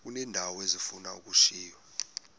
uneendawo ezifuna ukushiywa